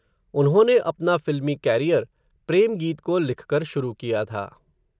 उन्होंने अपना फ़िल्मी कॅरियर, प्रेम गीत को लिखकर शुरू किया था